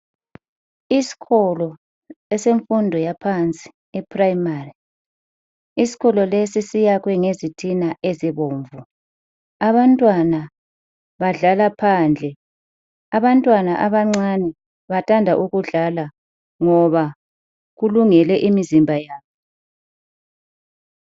Isikolo esemfundo yaphansi iprayimari , isikolo lesi siyakhiwe ngezitina ezibomvu. Abantwana badlala phandle , abantwana abancane bathanda ukudlala ngoba kulungele imizimba yabo.